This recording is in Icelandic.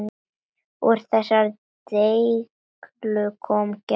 Úr þessari deiglu kom Gerður.